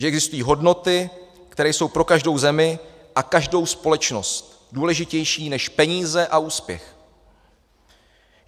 Že existují hodnoty, které jsou pro každou zemi a každou společnost důležitější než peníze a úspěch.